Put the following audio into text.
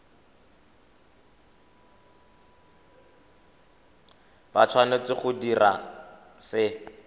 ba tshwanetse go dira se